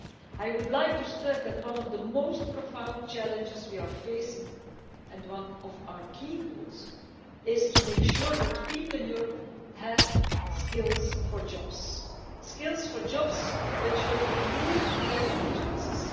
I would like to stress that one of the most profound challenges we are facing, and one of our key goals, is to make sure that people in Europe have skills for jobs skills for jobs which will improve their life chances.